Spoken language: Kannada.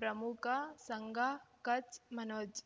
ಪ್ರಮುಖ ಸಂಘ ಕಚ್ ಮನೋಜ್